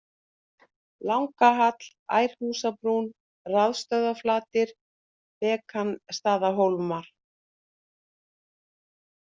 Langahall, Ærhúsbrún, Rafstöðvarflatir, Bekansstaðahólmar